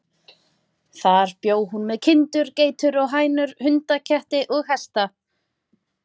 Þar bjó hún með kindur, geitur og hænur, hunda, ketti og hesta.